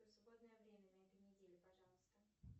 свободное время на этой неделе пожалуйста